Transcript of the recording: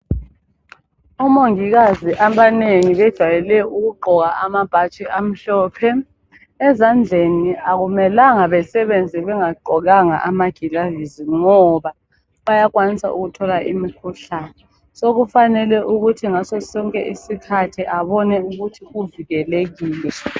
Omongikazi abanengi bejayele ukugqoka amabhatshi amhlophe, ezandleni akumelanga basebenze bengagqokanga amagilavizi ngoba bayakwanisa ukuthola imikhuhlane so kufanele ukuthi ngaso sonke isikhathi abone ukuthi uvikelekile.